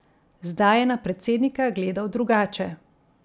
Zdaj je na predsednika gledal drugače.